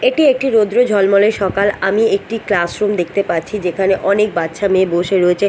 এটি একটি রৌদ্র ঝলমলে সকাল আমি একটি ক্লাস রুম দেখতে পাচ্ছি যেখানে অনেক বাচ্চা মেয়ে বসে রয়েছে।